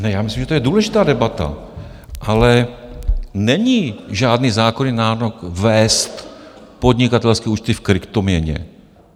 Ne, já myslím, že to je důležitá debata, ale není žádný zákonný nárok vést podnikatelské účty v kryptoměně.